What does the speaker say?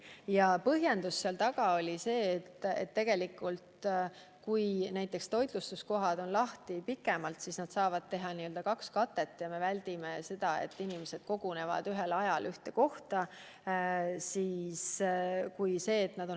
Ja põhjendus oli see, et kui toitlustuskohad on lahti pikemalt, siis nad saavad teha n-ö kaks katet ja me väldime seda, et inimesed kogunevad kuhugi ühel ajal.